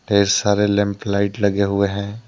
ढेर सारे lamp light लगे हुए हैं।